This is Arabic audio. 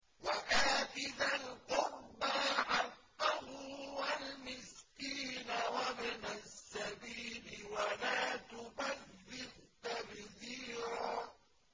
وَآتِ ذَا الْقُرْبَىٰ حَقَّهُ وَالْمِسْكِينَ وَابْنَ السَّبِيلِ وَلَا تُبَذِّرْ تَبْذِيرًا